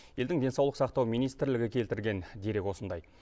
елдің денсаулық сақтау министрлігі келтірген дерек осындай